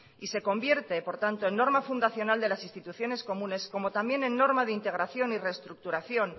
y se convierte por tanto en norma fundacional de las instituciones comunes como también en norma de integración y reestructuración